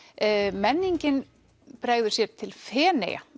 menningin bregður sér til Feneyja